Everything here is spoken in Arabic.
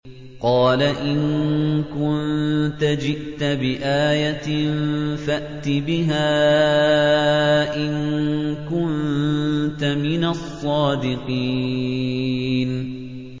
قَالَ إِن كُنتَ جِئْتَ بِآيَةٍ فَأْتِ بِهَا إِن كُنتَ مِنَ الصَّادِقِينَ